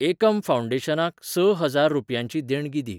एकम फाउंडेशनाक स हजार रुपयांची देणगी दी.